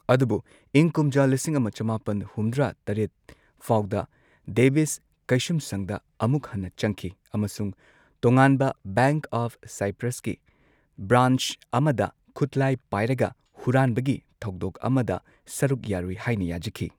ꯑꯗꯨꯕꯨ ꯏꯪ ꯀꯨꯝꯖꯥ ꯂꯤꯁꯤꯡ ꯑꯃ ꯆꯃꯥꯄꯟ ꯍꯨꯝꯗ꯭ꯔꯥ ꯇꯔꯦꯠ ꯐꯥꯎꯗ, ꯗꯦꯕꯤꯁ ꯀꯩꯁꯨꯝꯁꯪꯗ ꯑꯃꯨꯛ ꯍꯟꯅ ꯆꯪꯈꯤ ꯑꯃꯁꯨꯡ ꯇꯣꯉꯥꯟꯕ ꯕꯦꯡꯛ ꯑꯣꯐ ꯁꯥꯏꯄ꯭ꯔꯁꯀꯤ ꯕ꯭ꯔꯥꯟꯆ ꯑꯃꯗ ꯈꯨꯠꯂꯥꯢ ꯄꯥꯢꯔꯒ ꯍꯨꯔꯥꯟꯕꯒꯤ ꯊꯧꯗꯣꯛ ꯑꯃꯗ ꯁꯔꯨꯛ ꯌꯥꯔꯨꯢ ꯍꯥꯏꯅ ꯌꯥꯖꯈꯤ ꯫